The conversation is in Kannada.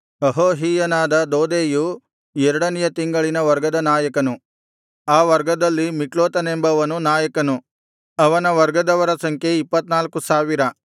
ಅಹೋಹಿಯನಾದ ದೋದೈಯು ಎರಡನೆಯ ತಿಂಗಳಿನ ವರ್ಗದ ನಾಯಕನು ಆ ವರ್ಗದಲ್ಲಿ ಮಿಕ್ಲೋತನೆಂಬವನು ನಾಯಕನು ಅವನ ವರ್ಗದವರ ಸಂಖ್ಯೆ ಇಪ್ಪತ್ತ್ನಾಲ್ಕು ಸಾವಿರ